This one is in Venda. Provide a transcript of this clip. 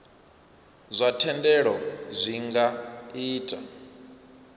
zwa thendelo zwi nga ita